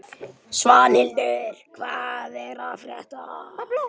Svanhildur, hvað er að frétta?